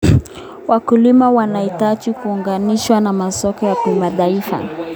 Wakulima wanahitaji kuunganishwa na masoko ya kimataifa.